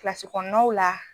Kilasi kɔnɔnaw la